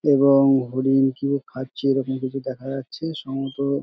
এবং হরিণ কি ভাবে খাচ্ছে এইরকম কিছু দেখা যাচ্ছে সম্ভবত--